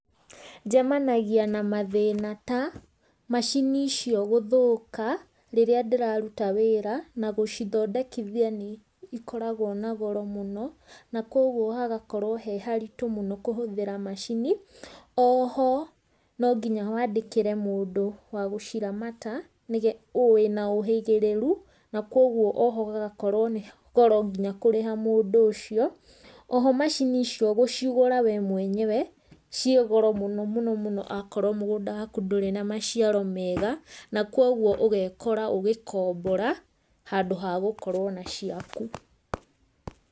Njemanagia na mathina ta, macini icio gũthũka rĩrĩa ndĩraruta wĩra, na gũcithondekithia nĩ ikoragwo na goro mũno, na koguo hagakorwo he haritũ mũno kũhũthĩra macini, o ho, no nginya wandĩkĩre mũndũ wa gũciramata, nĩge, ũina ũgĩhĩrĩru na koguo gũgũkorwo nĩ goro nginya kũrĩha mũndũ ũcio. O ho macini icio gũcigũra we mwenyewe ciĩ goro mũno mũno mũno akorwo mũgũnda waku ndũrĩ na maciaro mega, na koguo ũgekora ũgĩkombora, handũ ha gũkorwo na ciaku.